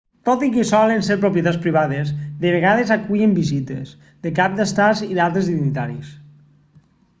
tot i que solen ser propietats privades de vegades acullen visites de caps d'estat i d'altres dignataris